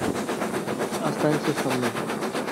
останься со мной